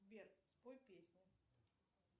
сбер спой песню